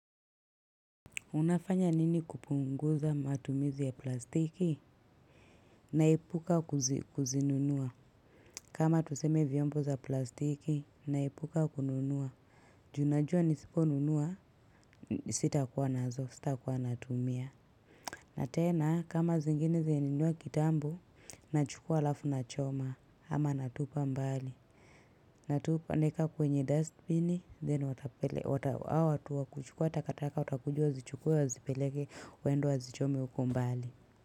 Unafanya nini kupunguza matumizi ya plastiki? Naepuka kuzinunua. Kama tuseme vyombo za plastiki, naepuka kununua. Ju unajua nisiponunua, sitakuwa nazo, sitakuwa natumia. Na tena, kama zingine zenye nimenunua kitambo, nachukua alafu nachoma, ama natupa mbali. Natupa naweka kwenye dustbin, then watu wa kuchukua takataka watakuja wazichukue, wazipeleke waende wazichome huko mbali.